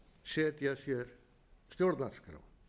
setja sér stjórnarskrá